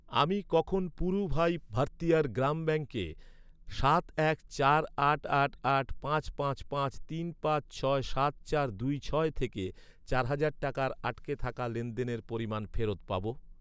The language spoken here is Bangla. আমি কখন পুড়ুভাই ভারথিয়ার গ্রাম ব্যাঙ্কে সাত এক চার আট আট আট পাঁচ পাঁচ পাঁচ তিন পাঁচ ছয় সাত চার দুই ছয় থেকে চার হাজার টাকার আটকে থাকা লেনদেনের পরিমাণ ফেরত পাব?